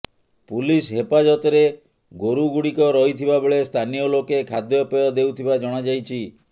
police ହେପାଜତରେ ଗୋରୁଗୁଡ଼ିକ ରହିଥିବା ବେଳେ ସ୍ଥାନୀୟ ଲୋକେ ଖାଦ୍ୟପେୟ ଦେଉଥିବା ଜଣାଯାଇଛି